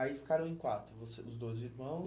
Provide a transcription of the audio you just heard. Aí ficaram em quatro, você, os dois irmãos?